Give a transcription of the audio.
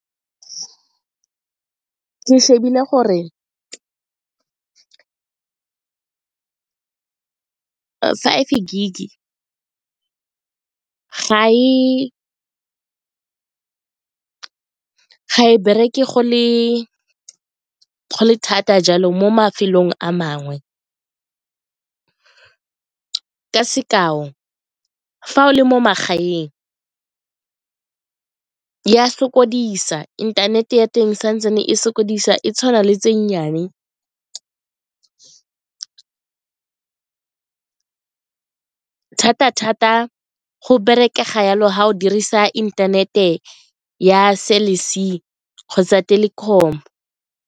Ke shebile gore five gig-e ga e bereke go le thata jalo mo mafelong a mangwe ka sekao fa o le mo magaeng e a sokodisa, inthanete ya teng santsane e sokodisa e tshwana le tse nnyane thata-thata go bereka ga jalo ga go dirisa inthanete ya Cell C kgotsa Telkom.